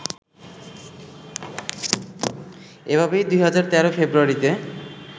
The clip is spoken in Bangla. এভাবেই ২০১৩ ফেব্রুয়ারিতে